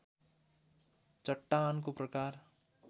चट्टानको प्रकार